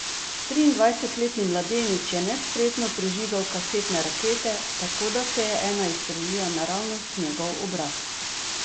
Triindvajsetletni mladenič je nespretno prižigal kasetne rakete, tako da se je ena izstrelila naravnost v njegov obraz.